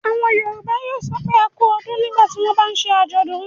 Àwọn Yorùbá yóò sọ pé "a kú ọdún. nígbà tí wọ́n bá ń ṣe àjọ̀dún.